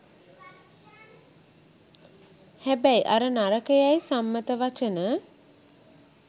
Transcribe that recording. හැබැයි අර නරකයයි සම්මත වචන